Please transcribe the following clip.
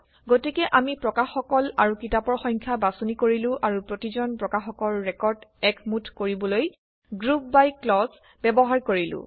গতিকে আমি প্ৰকাশকসকল আৰু কিতাপৰ সংখ্যা বাছনি কৰিলো আৰু প্ৰতিজন প্ৰকাশকৰ ৰেকৰ্ড একমুঠ কৰিবলৈ গ্ৰুপ বাই ক্লজ ব্যৱহাৰ কৰিলো